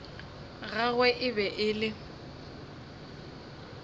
gagwe e be e le